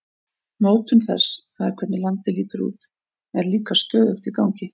Mótun þess, það er hvernig landið lítur út, er líka stöðugt í gangi.